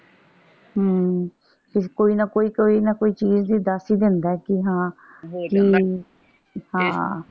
ਅਮ ਫੇਰ ਕੋਈ ਨਾ ਕੋਈ ਕੋਈ ਨਾ ਕੋਈ ਚੀਜ਼ ਜੀ ਦੱਸ ਹੀ ਦਿੰਦਾ ਹੈਂ ਕਿ ਹਾਂ ਹਾਂ ਕਿ